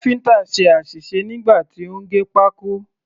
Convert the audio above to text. Káfíǹtà ṣe àṣìṣe nígbà tí ó ń gé pákó.